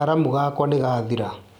karamu gakwa nĩgathira